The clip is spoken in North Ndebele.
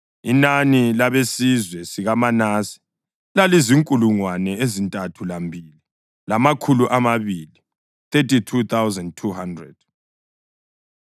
Inani labesizwe sikaManase lalizinkulungwane ezintathu lambili, lamakhulu amabili (32,200).